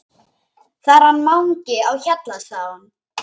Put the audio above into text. Það er hann Mangi á Hjalla sagði hún.